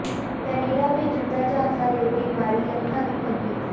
Canada ਭੇਜਣ ਦਾ ਝਾਂਸਾ ਦੇ ਕੇ ਮਾਰੀ ਲੱਖਾਂ ਦੀ ਠੱਗੀ